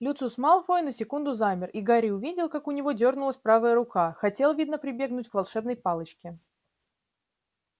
люциус малфой на секунду замер и гарри увидел как у него дёрнулась правая рука хотел видно прибегнуть к волшебной палочке